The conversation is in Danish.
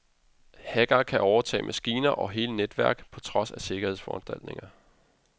Hackerne kan overtage maskiner og hele netværk på trods af sikkerhedsforanstaltninger.